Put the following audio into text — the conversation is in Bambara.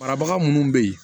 Marabaga minnu bɛ yen